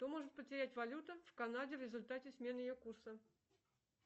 что может потерять валюта в канаде в результате смены ее курса